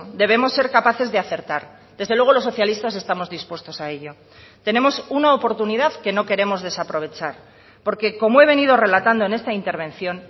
debemos ser capaces de acertar desde luego los socialistas estamos dispuestos a ello tenemos una oportunidad que no queremos desaprovechar porque como he venido relatando en esta intervención